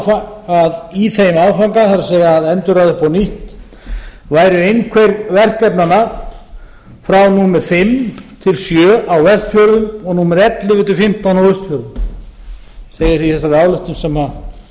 áfanga það er að endurraða upp á nýtt væru einhver verkefnanna frá númer fimm til sjö á vestfjörðum og númer ellefu til fimmtán á austfjörðum segir í þegar ályktun